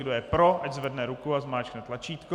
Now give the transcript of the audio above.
Kdo je pro, ať zvedne ruku a zmáčkne tlačítko.